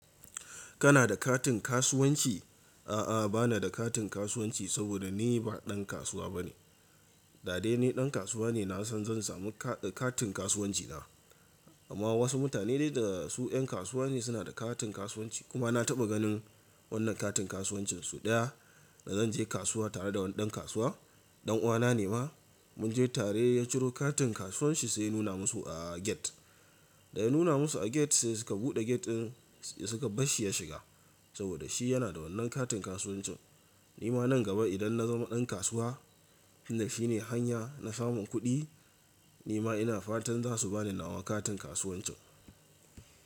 Kana da katin kasuwanci? A'a bana da katin kasuwanci, saboda ni ba ɗan kasuwa bane. Da dai ni ɗan kasuwa ne na san zan samu ka-katin kasuwanci na. Amma wasu mutane dai da su en kasuwa ne suna da katin kasuwanci. Kuma na taɓa ganin wannan katin kasuwancin sau ɗaya da zan je kasuwa tare da wani ɗan kasuwa, ɗan uwana ne ma mun je tare ya ciro katin kasuwanci sai ya nuna musu a get. Da ya nuna musu a get sai suka buɗe get ɗin suka bar shi ya shiga. Saboda shi yana da wannan katin kasuwancin. Ni ma nan gaba idan na zama ɗan kasuwa, inda shi ne hanya na samun kuɗi, ni ma ina fatan za su ba ni nawa katin kasuwancin.